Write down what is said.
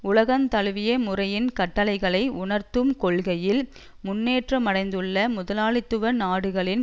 உலகந்தழுவிய முறையின் கட்டளைகளை உணர்ந்துகொள்கையில் முன்னேற்றமடைந்துள்ள முதலாளித்துவ நாடுகளின்